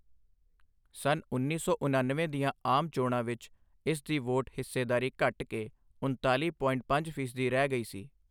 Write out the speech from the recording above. ਸੰਨ ਉੱਨੀ ਸੌ ਉਣਨਵੇਂ ਦੀਆਂ ਆਮ ਚੋਣਾਂ ਵਿੱਚ ਇਸ ਦੀ ਵੋਟ ਹਿੱਸੇਦਾਰੀ ਘਟ ਕੇ ਉਣਤਾਲੀ ਪੋਇੰਟ ਪੰਜ ਫੀਸਦੀ ਰਹਿ ਗਈ ਸੀ।